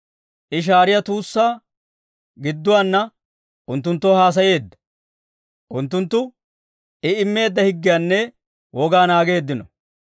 I shaariyaa tuussaa gidduwaana unttunttoo haasayeedda; unttunttu I immeedda higgiyaanne wogaa naageeddino.